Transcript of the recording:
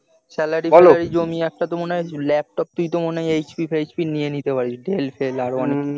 salary জমিয়ে একটা তো মনে হয় ল্যাপটপ তুই তো মনে হয় hp fhp dell fell আরো অনেক কিছু